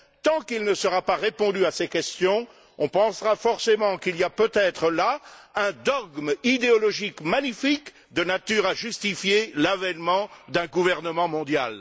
Tant qu'il ne sera pas répondu à ces questions, on pensera forcément qu'il y a peut être là un dogme idéologique magnifique de nature à justifier l'avènement d'un gouvernement mondial.